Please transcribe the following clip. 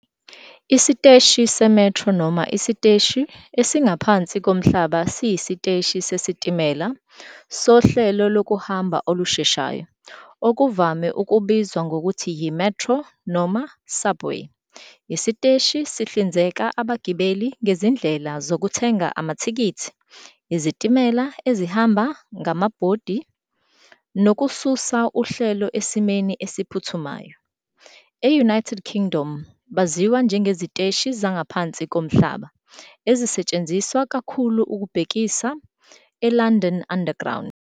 Isiteshi se-metro noma isiteshi esingaphansi komhlaba siyisiteshi sesitimela sohlelo lokuhamba olusheshayo, okuvame ukubizwa ngokuthi yi "metro" noma "subway". Isiteshi sihlinzeka abagibeli ngezindlela zokuthenga amathikithi, izitimela ezihamba ngamabhodi, nokususa uhlelo esimeni esiphuthumayo. E- United Kingdom, baziwa njengeziteshi zangaphansi komhlaba, ezisetshenziswa kakhulu ukubhekisa eLondon Underground.